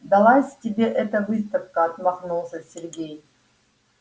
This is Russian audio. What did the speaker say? далась тебе эта выставка отмахнулся сергей